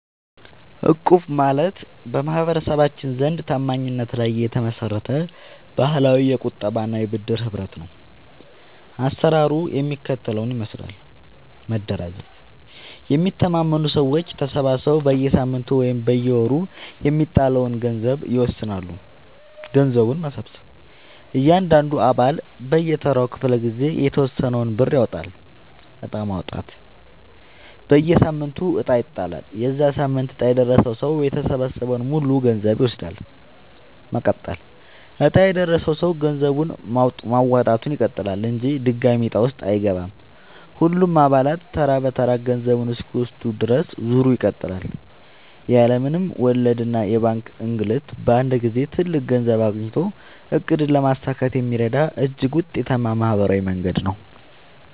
እቁብ ማለት በማህበረሰባችን ዘንድ ታማኝነት ላይ የተመሰረተ ባህላዊ የቁጠባና የብድር ህብረት ነው። አሰራሩ የሚከተለውን ይመስላል፦ መደራጀት፦ የሚተማመኑ ሰዎች ተሰባስበው በየሳምንቱ ወይም በየወሩ የሚጣለውን የገንዘብ መጠን ይወስናሉ። ገንዘብ መሰብሰብ፦ እያንዳንዱ አባል በየተራው ክፍለ-ጊዜ የተወሰነውን ብር ያዋጣል። ዕጣ ማውጣት፦ በየሳምንቱ ዕጣ ይጣላል። የዚያ ሳምንት ዕጣ የደረሰው ሰው የተሰበሰበውን ሙሉ ገንዘብ ይወስዳል። መቀጠል፦ ዕጣ የደረሰው ሰው ገንዘብ ማዋጣቱን ይቀጥላል እንጂ ድጋሚ ዕጣ ውስጥ አይገባም። ሁሉም አባላት ተራ በተራ ገንዘቡን እስኪወስዱ ድረስ ዙሩ ይቀጥላል። ያለ ምንም ወለድና የባንክ እንግልት በአንድ ጊዜ ትልቅ ገንዘብ አግኝቶ ዕቅድን ለማሳካት የሚረዳ እጅግ ውጤታማ ማህበራዊ መንገድ ነው።